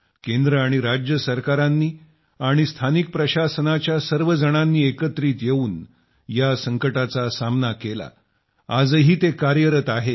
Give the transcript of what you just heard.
केंद्र आणि राज्य सरकारांनी आणि स्थानिक प्रशासनाचे सर्वजण एकत्रित येऊन या संकटाचा सामना करण्यासाठी कार्यरत आहेत